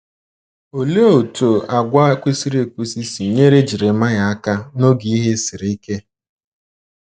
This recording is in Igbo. Olee otú àgwà kwesịrị ekwesị si nyere Jeremaịa aka n’oge ihe siri ike?